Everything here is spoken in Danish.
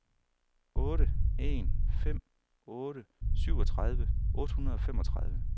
otte en fem otte syvogtredive otte hundrede og femogtredive